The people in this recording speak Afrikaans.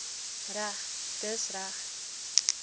reg dis reg